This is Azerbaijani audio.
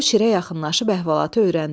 O şirə yaxınlaşıb əhvalatı öyrəndi.